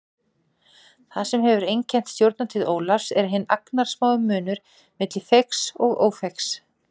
Það sem hefur einkennt stjórnartíð Ólafs er hinn agnarsmái munur milli feigs og ófeigs.